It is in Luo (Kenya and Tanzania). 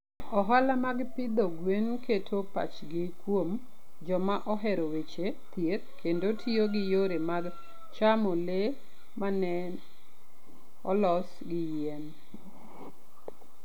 Ohala mag pidho gwen keto pachgi kuom joma ohero weche thieth kendo tiyo gi yore mag chamo le ma ne olos gi yien.